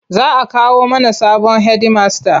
Za a kawo mana sabon hedimasta.